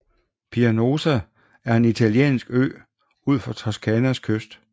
Pianosa er en italiensk ø ud for Toscanas kyst